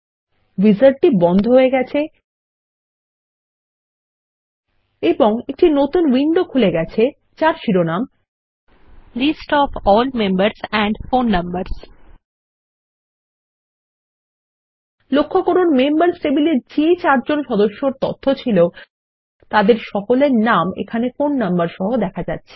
উইজার্ডটি বন্ধ হয়ে গেছে এবং একটি নতুন উইন্ডো খুলে গেছে যার শিরোনাম list of all members and phone numbers লক্ষ্য করুন মেম্বার্স টেবিলে যে চারজন সদস্যর তথ্য ছিল তাদের সকলের নাম ফোন নম্বর সহ দেখা যাচ্ছে